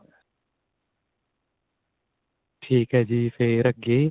ਠੀਕ ਏ ਜੀ ਫੇਰ ਅੱਗੇ